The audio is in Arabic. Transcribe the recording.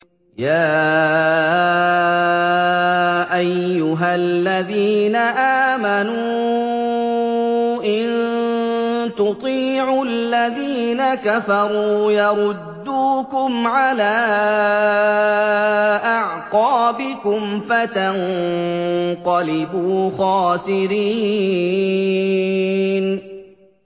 يَا أَيُّهَا الَّذِينَ آمَنُوا إِن تُطِيعُوا الَّذِينَ كَفَرُوا يَرُدُّوكُمْ عَلَىٰ أَعْقَابِكُمْ فَتَنقَلِبُوا خَاسِرِينَ